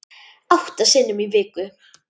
Átta sinnum í viku.